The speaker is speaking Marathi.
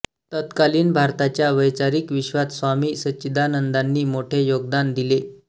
तत्कालीन भारताच्या वैचारीक विश्वात स्वामी सच्चिदानंदांनी मोठे योगदान दिले